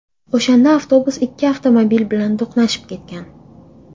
O‘shanda avtobus ikki avtomobil bilan to‘qnashib ketgan.